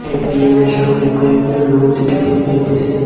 এটিএময়ের সামোনে কয়েকজন লোক দেখিতে পাইতেসি।